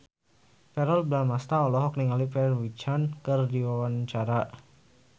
Verrell Bramastra olohok ningali Pharrell Williams keur diwawancara